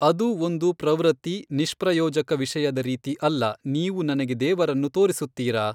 ಅದು ಒಂದು ಪ್ರವೃತ್ತಿ ನಿಷ್ಪ್ರಯೋಜಕ ವಿಷಯದ ರೀತಿ ಅಲ್ಲ ನೀವು ನನಗೆ ದೇವರನ್ನು ತೋರಿಸುತ್ತಿರಾ?